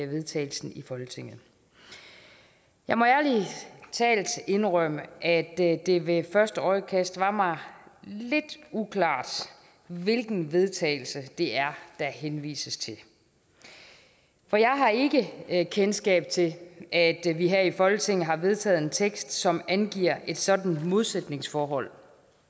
vedtagelse i folketinget jeg må ærlig talt indrømme at det ved første øjekast var mig lidt uklart hvilken vedtagelse det er der henvises til for jeg har ikke ikke kendskab til at vi her i folketinget har vedtaget en tekst som angiver et sådant modsætningsforhold